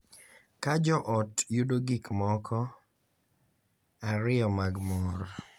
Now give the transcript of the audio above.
Ka jo ot yudo gik moko ariyo mag mor .